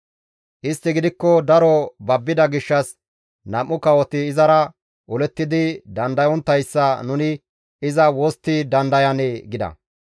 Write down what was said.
Istti gidikko daro babbida gishshas, «Nam7u kawoti izara olettidi dandayonttayssa nuni iza wostti dandayanee?» gida.